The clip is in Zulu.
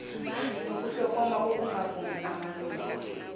nokuhlokoma kokungavumi kumalungu